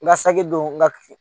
N ka saki don n ka